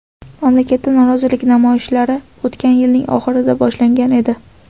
Mamlakatda norozilik namoyishlari o‘tgan yilning oxirida boshlangan edi.